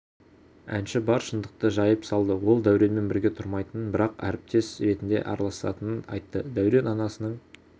әнші бар шындықты жайып салды ол дәуренмен бірге тұрмайтынын бірақ әріптес ретінде араласатынын айтты дәурен анасының